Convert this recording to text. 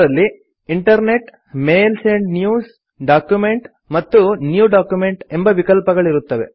ಅದರಲ್ಲಿ internet mails and news document ಮತ್ತು new document ಎಂಬ ವಿಕಲ್ಪಗಳಿರುತ್ತವೆ